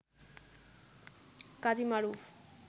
Kazi Maruf